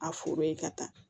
A foro ye ka taa